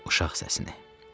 Uşaq səsini.